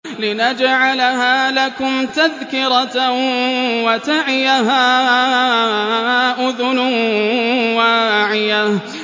لِنَجْعَلَهَا لَكُمْ تَذْكِرَةً وَتَعِيَهَا أُذُنٌ وَاعِيَةٌ